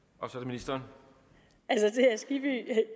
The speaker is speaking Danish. altså